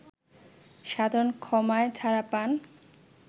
সাধারণ ক্ষমায় ছাড়া পান